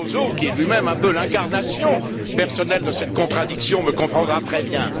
Barroso, qui est lui même un peu l'incarnation personnelle de cette contradiction, me comprendra très bien.